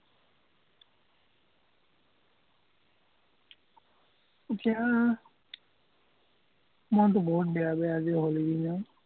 এতিয়া মনটো বহুত বেয়া বেয়া আজি হলি দিনাও।